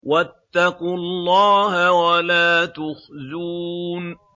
وَاتَّقُوا اللَّهَ وَلَا تُخْزُونِ